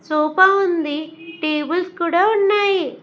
Sofa ఉంది tables కూడా ఉన్నాయి.